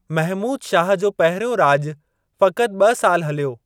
महमूद शाह जो पहिरियों राॼु फ़क़्ति ॿ साल हलियो।